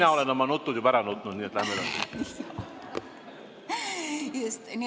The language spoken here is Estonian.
Mina olen oma nutud juba ära nutnud, nii et läheme edasi.